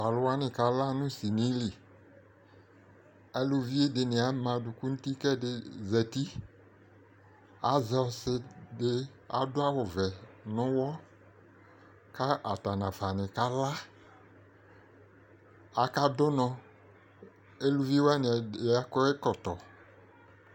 to alowani kala no sini li aluvi dini ama adòku n'uti k'ɛdi zati azɛ ɔse di ado awu vɛ n'uwɔ k'atani nafa kala aka do unɔ uluvi wani ɛdi akɔ ɛkɔtɔ